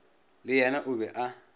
le yena o be a